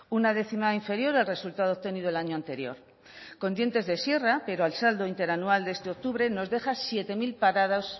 una décima inferior al resultado obtenido el año anterior con dientes de sierra pero al saldo interanual este octubre nos deja siete mil parados